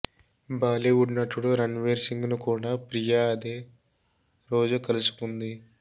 బాలీవుడ్ నటుడు రణ్వీర్ సింగ్ను కూడా ప్రియా అదే రోజు కలుసుకుంది